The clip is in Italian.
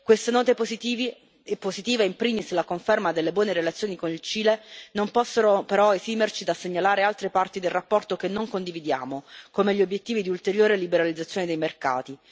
Queste note positive e in primis la conferma delle buone relazioni con il Cile non possono però esimerci dal segnalare altre parti della relazione che non condividiamo, come gli obiettivi di ulteriore liberalizzazione dei mercati.